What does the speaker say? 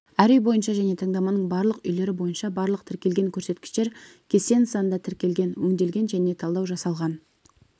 әр үй бойынша және таңдаманың барлық үйлері бойынша барлық тіркелген көрсеткіштер кесте нысанында тіркелген өңделген және талдау жасалған